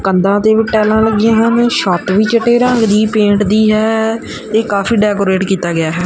ਕੰਧਾਂ ਤੇ ਵੀ ਟਾਈਲਾਂ ਲੱਗੀਆਂ ਹਨ ਛੱਤ ਵੀ ਚਿੱਟੇ ਰੰਗ ਦੀ ਪੇਂਟ ਦੀ ਹੈ ਇਹ ਕਾਫੀ ਡੈਕੋਰੇਟ ਕਿੱਤਾ ਗਿਆ ਹੈ।